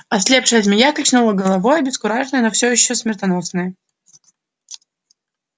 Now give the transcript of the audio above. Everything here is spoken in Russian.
ослепшая змея качнула головой обескураженная но всё ещё смертоносная